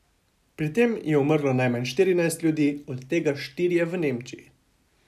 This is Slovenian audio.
Pri tem je umrlo najmanj štirinajst ljudi, od tega štirje v Nemčiji.